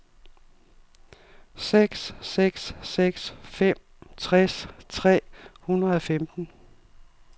seks seks seks fem tres tre hundrede og femten